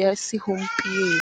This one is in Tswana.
ya segompieno.